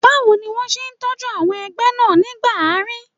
Báwo ni wọ́n ṣe tọ́jú àwọn ẹgbẹ́ náà nígbà àárín?